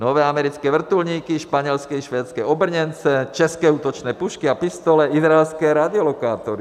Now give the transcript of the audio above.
Nové americké vrtulníky, španělské i švédské obrněnce, české útočné pušky a pistole, izraelské radiolokátory.